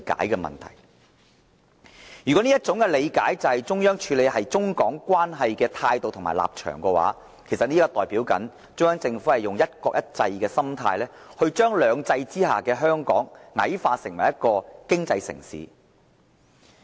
如果這種理解代表了中央處理中港關係的態度和立場，中央政府就是以"一國一制"的心態，將"兩制"之下的香港矮化為一個經濟城市。